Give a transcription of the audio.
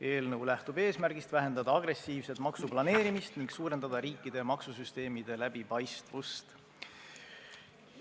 Eelnõu lähtub eesmärgist, et on vaja vähendada agressiivset maksuplaneerimist ning suurendada riikide maksusüsteemide läbipaistvust.